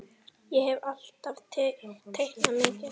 Ég hef alltaf teiknað mikið.